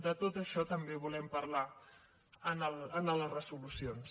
de tot això també en volem parlar en les resolucions